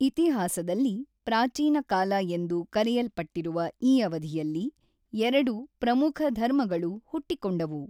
ಇತಿಹಾಸದಲ್ಲಿ ಪ್ರಾಚೀನ ಕಾಲ ಎಂದು ಕರೆಯಲ್ಪಟ್ಟಿರುವ ಈ ಅವಧಿಯಲ್ಲಿ ಎರಡು ಪ್ರಮುಖಧರ್ಮಗಳು ಹುಟ್ಟಿಕೊಂಡವು.